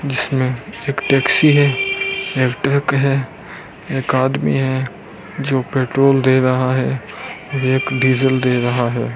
जिसमें एक टैक्सी है एक ट्रक है एक आदमी है जो पेट्रोल दे रहा है और एक डीजल दे रहा है।